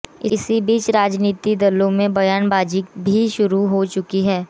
इसी बीच राजनीतिक दलों की बयानबाजी भी शुरु हो चुकी है